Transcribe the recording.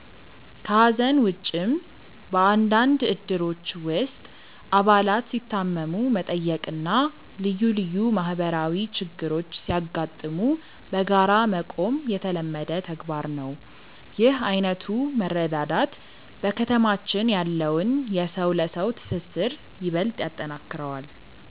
ከሐዘን ውጭም፣ በአንዳንድ እድሮች ውስጥ አባላት ሲታመሙ መጠየቅና ልዩ ልዩ ማህበራዊ ችግሮች ሲያጋጥሙ በጋራ መቆም የተለመደ ተግባር ነው። ይህ ዓይነቱ መረዳዳት በከተማችን ያለውን የሰው ለሰው ትስስር ይበልጥ ያጠነክረዋል።